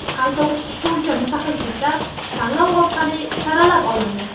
Qayta o‘qitish bo‘yicha mutaxassislar tanlov orqali saralab olindi.